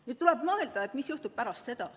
Nüüd tuleb mõelda, mis juhtub pärast seda.